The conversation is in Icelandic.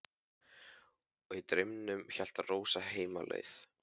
Og í draumnum hélt Rósa heim á leið.